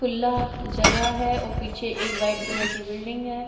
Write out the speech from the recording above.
खुला जगह है और पीछे एक वाईट कलर कि बिल्डिंग है।